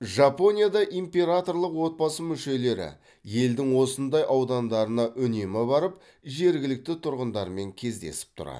жапонияда императорлық отбасы мүшелері елдің осындай аудандарына үнемі барып жергілікті тұрғындармен кездесіп тұрады